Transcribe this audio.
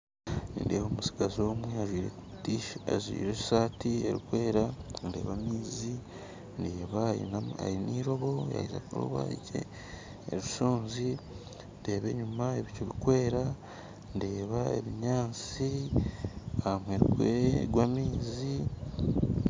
Nindeeba omustigazi omwe ajwaire esaati erikwera ndeeba amaizi ndeeba aine eirobo yaaheza kuroba eshonzi ndeeba enyuma ebicu birikwera ndeeba ebinyaatsi aha muheru gw'amaizi